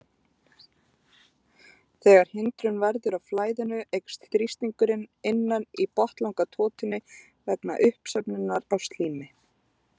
Þegar hindrun verður á flæðinu eykst þrýstingurinn innan í botnlangatotunni vegna uppsöfnunar á slími.